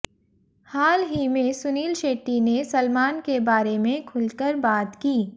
हाल ही में सुनील शेट्टी ने सलमान के बारे में खुलकर बात की